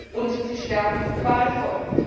Und sie sterben qualvoll.